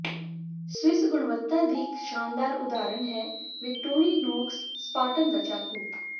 Swiss ਗੁਣਵੱਤਾ ਦੀ ਇੱਕ ਸ਼ਾਨਦਾਰ ਉਦਾਹਰਨ ਹੈ ਵਿਕਟੋਰਿਨੋਕਸ ਸਪਾਰਟਨ ਦਾ ਚਾਕੂ